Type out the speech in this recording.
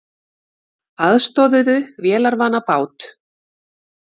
Aðstoðuðu vélarvana bát